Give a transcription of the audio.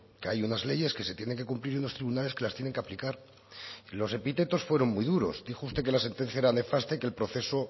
que hay unas leyes que se tienen que cumplir en los tribunales que las tienen que aplicar los epítetos fueron muy duros dijo usted que la sentencia era nefasta y que el proceso